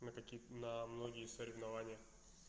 на каких на многие соревнования